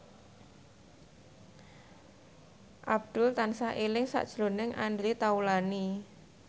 Abdul tansah eling sakjroning Andre Taulany